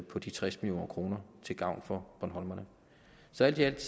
på de tres million kroner til gavn for bornholmerne så alt i alt